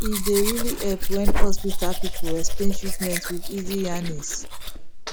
e dey really help when hospital people explain treatment with easy yarnings